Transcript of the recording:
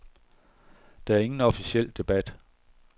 Der er ingen officiel debat.